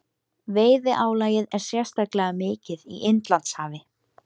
Veiðiálagið er sérstaklega mikið í Indlandshafi.